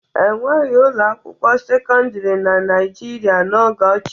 E nweghi ụlọ akwụkwọ sekọndịrị na Naịjirịa n'oge ochie.